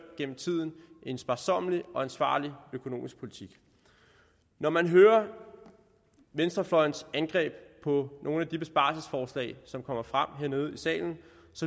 en sparsommelig og ansvarlig økonomisk politik når man hører venstrefløjens angreb på nogle af de besparelsesforslag som kommer frem hernede i salen